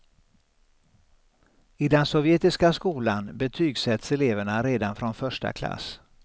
I den sovjetiska skolan betygsätts eleverna redan från första klass.